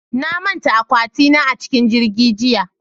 Na manta akwati na a cikin jirgi jiya